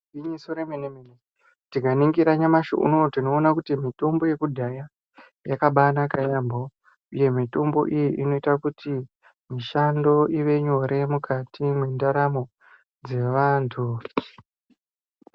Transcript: Igwinyiso remene-mene. Tikaningira nyamashi unowu tinoone kuti mitombo yekudhaya yakabanaka yaampho, uye mitombo iyi inoite kuti mishando ive nyore mukati mwendaramo dzevantu.